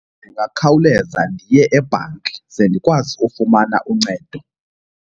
Ndingakhawuleza ndiye ebhanki ze ndikwazi ufumana uncedo.